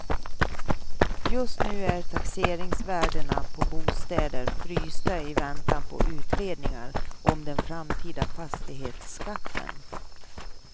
Just nu är taxeringsvärdena på bostäder frysta i väntan på utredningar om den framtida fastighetsskatten.